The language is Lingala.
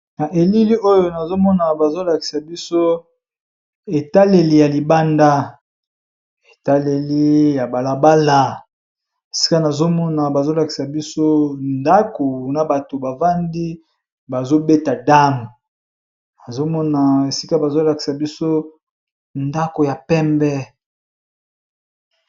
Na elili oyo nazomona bazolakisa biso etaleli ya libanda etaleli ya balabala sika nazomona bazolakisa biso ndako na bato bavandi bazobeta dame nazomona esika bazolakisa biso ndako ya pembe.